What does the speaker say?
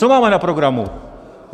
Co máme na programu?